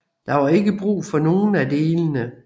Der var ikke brug for nogen af delene